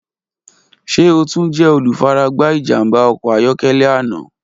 Ṣe o tun jẹ olufaragba ijamba ọkọ ayọkẹlẹ ana?